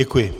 Děkuji.